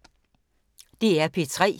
DR P3